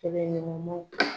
Kɛlɛɲɔgɔnmaw.